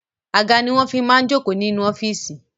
Àga ni wọn fi máa ń jókò inú ọ́fíìsì